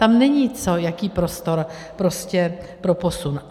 Tam není co, jaký prostor prostě pro posun.